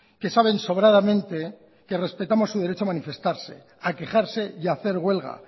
que saben sobradamente que respetamos su derecho a manifestarse a quejarse y a hacer huelga